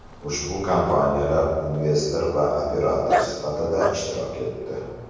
Ushbu kompaniyalar investor va operator sifatida ishtirok etdi.